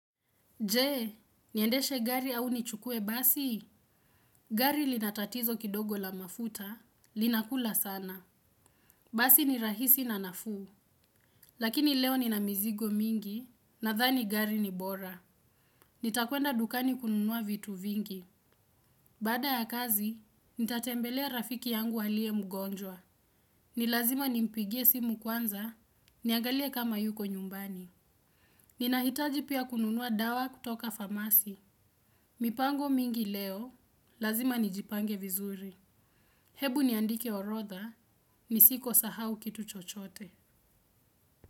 Jee, niendeshe gari au nichukue basi. Gari linatatizo kidogo la mafuta, linakula sana. Basi ni rahisi na nafuu. Lakini leo nina mizigo mingi, nadhani gari ni bora. Nitakuenda dukani kununua vitu vingi. Baada ya kazi, nitatembelea rafiki yangu aliye mgonjwa. Ni lazima nimpigie simu kwanza, niagalie kama yuko nyumbani. Ninahitaji pia kununua dawa kutoka famasi. Mipango mingi leo, lazima nijipange vizuri. Hebu niandike orodha, nisiko sahau kitu chochote.